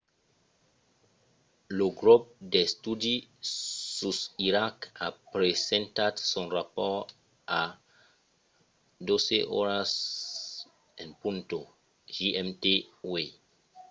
lo grop d'estudi sus iraq a presentat son rapòrt a 12:00 gmt uèi